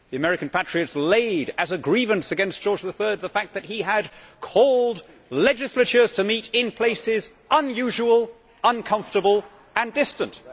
The American patriots laid as a grievance against George III the fact that he had called legislatures to meet in places unusual, uncomfortable and distant'.